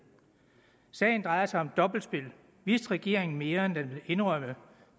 sagen drejer sig om dobbeltspil vidste regeringen mere end den vil indrømme